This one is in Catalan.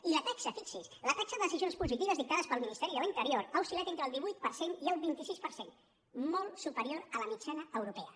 i la taxa fi·xi’s la taxa de decisions positives dictades pel minis·teri de l’interior ha oscil·lat entre el divuit per cent i el vint sis per cent molt superior a la mitjana europea